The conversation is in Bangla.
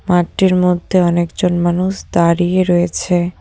মাটটির মধ্যে অনেকজন মানুষ দাঁড়িয়ে রয়েছে।